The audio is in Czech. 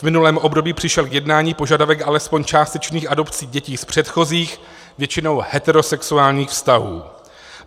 V minulém období přišel k jednání požadavek alespoň částečných adopcí dětí z předchozích, většinou heterosexuálních vztahů.